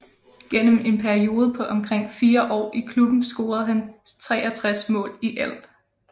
Gennem en periode på omkring fire år i klubben scorede han 63 mål i alt